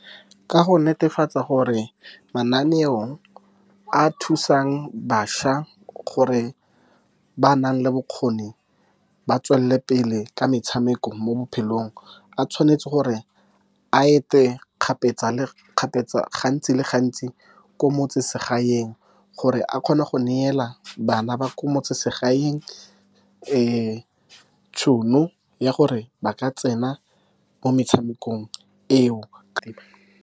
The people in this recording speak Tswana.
Ka go netefatsa gore mananeo a thusang bašwa, gore ba ba nang le bokgoni ba tswelele pele ka metshameko mo bophelong, a tshwanetse gore a ete kgapetsa-kgapetsa, gantsi le gantsi ko motseselegaeng, gore a kgone go neela bana ba ko metseselegaeng le tšhono ya gore ba ka tsena mo metshamekong eo.